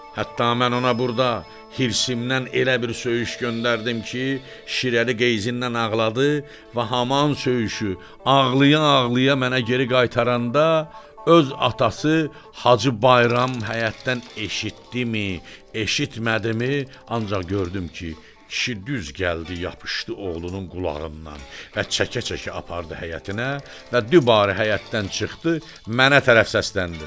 Hətta mən ona burda hirsimdən elə bir söyüş göndərdim ki, Şirəli Geysindən ağladı və həman söyüşü ağlaya-ağlaya mənə geri qaytaranda öz atası Hacı Bayram həyətdən eşitdimi, eşitmədimi, ancaq gördüm ki, kişi düz gəldi yapışdı oğlunun qulağından və çəkə-çəkə apardı həyətinə və dübarə həyətdən çıxdı, mənə tərəf səsləndi.